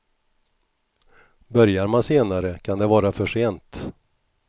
Börjar man senare kan det vara för sent.